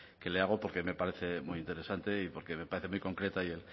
que le hago porque me parece muy interesante y porque me parece muy concreta